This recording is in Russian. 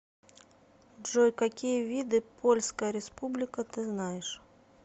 джой какие виды польская республика ты знаешь